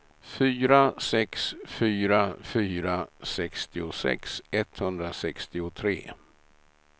fyra sex fyra fyra sextiosex etthundrasextiotre